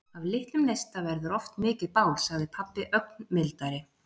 Af litlum neista verður oft mikið bál, sagði pabbi ögn mildari.